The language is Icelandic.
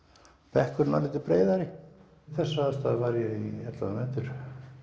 bekkurinn örlítið breiðari við þessar aðstæður var ég í ellefu nætur